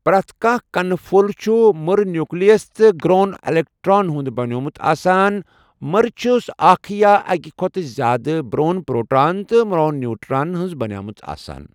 پرٛتھ کانٛہہ کنہٕ پھۆل چھُ مٕرٕ نیوکلٔس تہٕ گرٛۆن الیکٹران ہُنٛد بَنیومُت آسان مٕرِ چھَس اَکھ یا اَکہِ کھوتہٕ زیٛادٕ برٛۆن پؔروٹران تہٕ مرٛۆن نیوٹران ہٕنٛز بَنیٛٲمٕژ آسان.